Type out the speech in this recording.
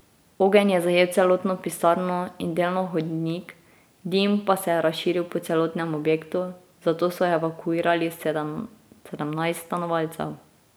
Ogenj je zajel celotno pisarno in delno hodnik, dim pa se je razširil po celotnem objektu, zato so evakuirali sedemnajst stanovalcev.